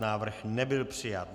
Návrh nebyl přijat.